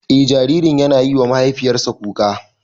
Eh jaririn yana yiwa mahaifiyarsa kuka.